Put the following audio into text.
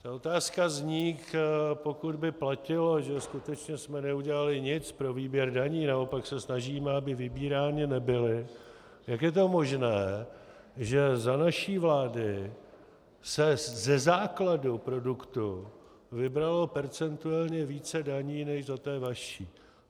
Ta otázka zní, pokud by platilo, že skutečně jsme neudělali nic pro výběr daní, naopak se snažíme, aby vybírány nebyly, jak je to možné, že za naší vlády se ze základu produktu vybralo percentuálně více daní než za té vaší.